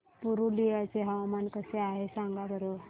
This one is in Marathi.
पुरुलिया चे हवामान कसे आहे सांगा बरं